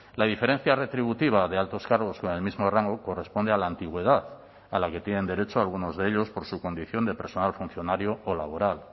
la diferencia retributiva de altos cargos con el mismo rango corresponde a la antigüedad a la que tienen derecho algunos de ellos por su condición de personal funcionario o laboral